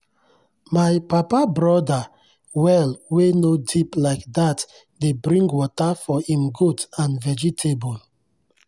my papa brother well wey no deep like that dey bring water for im goat and vegetable.